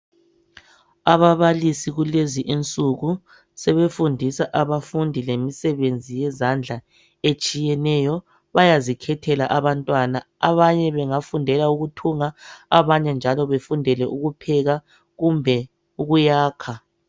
ababalisi kulezi insuku sebefundisa abafundi lemisebenzi yezandla etshiyeneyo bayazikhethela abantwana abanye bafundela ukuthunga abanye njalo befundele ukupheka kumbe ukuyakha